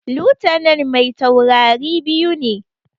Lutanan mai taurari biyu ne